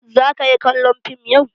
Za ka yi kallon fim yau?